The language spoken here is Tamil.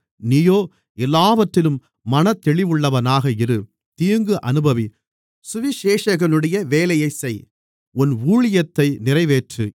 நீயோ எல்லாவற்றிலும் மனத்தெளிவுள்ளவனாக இரு தீங்கு அனுபவி சுவிசேஷகனுடைய வேலையைச் செய் உன் ஊழியத்தை நிறைவேற்று